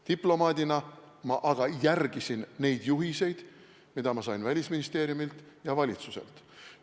Diplomaadina ma aga järgisin neid juhiseid, mida ma sain Välisministeeriumilt ja valitsuselt.